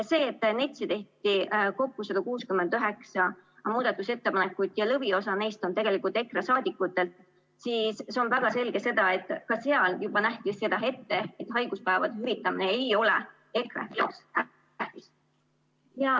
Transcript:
See, et NETS‑i kohta tehti kokku 169 muudatusettepanekut ja lõviosa neist on EKRE saadikutelt, näitab väga selgelt, et ka seal nähti seda ette, et haiguspäevade hüvitamine ei ole EKRE jaoks tähtis.